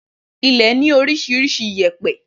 Ilẹ̀ ní oríṣiríṣi iyèpẹ̀